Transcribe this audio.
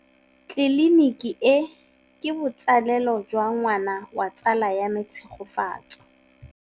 Tleliniki e, ke botsalêlô jwa ngwana wa tsala ya me Tshegofatso.